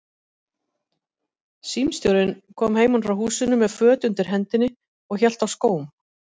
Símstjórinn kom heiman frá húsinu með föt undir hendinni og hélt á skóm.